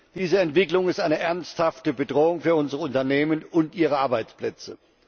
Diese Entwicklung ist eine ernsthafte Bedrohung für unsere Unternehmen und ihre Arbeitsplätze.